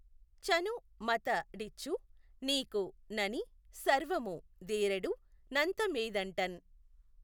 చను మత డిచ్చు నీకు నని సర్వము దీఱెడు నంతమీదఁటన్.